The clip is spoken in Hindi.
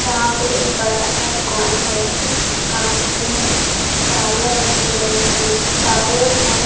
यहाँ पे एक बड़ा सा दूकान है इस दूकान में टायर रखे गये हैं टायर हैं।